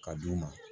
Ka d'u ma